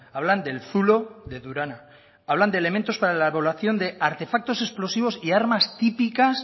hablan del zulo de durana hablan de elementos para la de artefactos explosivos y armas típicas